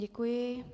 Děkuji.